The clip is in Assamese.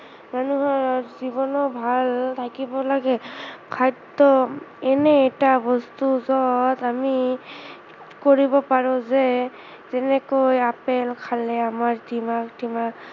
মানুহৰ জীৱনো ভাল থাকিব লাগে, খাদ্য় এনে এটা বস্তু যত আমি কৰিব পাৰো যে যেনেকৈ আপেল খালে আমাৰ দিমাগ টিমাগ